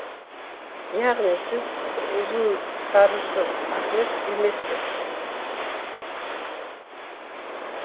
яғни сіз ұзынсарысыз ахмет емессіз